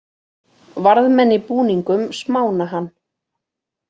Varðmenn í búningum smána hann